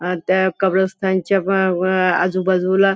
अ त्या कब्रस्तानच्या व व आजूबाजूला--